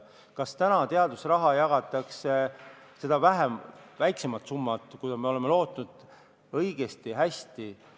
Kas täna teadusraha jagatakse – seda väiksemat summat, kui me oleme lootnud – õigesti?